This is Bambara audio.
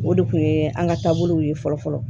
O de kun ye an ka taabolow ye fɔlɔ fɔlɔ